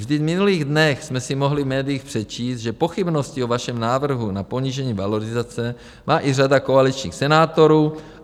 Vždyť v minulých dnech jsme si mohli v médiích přečíst, že pochybnosti o vašem návrhu na ponížení valorizace má i řada koaličních senátorů.